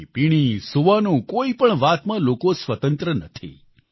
ખાણીપીણી સૂવાનું કોઈપણ વાતમાં લોકો સ્વતંત્ર નથી